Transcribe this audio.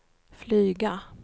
flyga